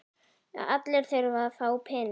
Allir þurfa að fá peninga.